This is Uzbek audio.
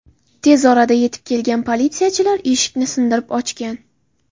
Tez orada yetib kelgan politsiyachilar eshikni sindirib ochgan.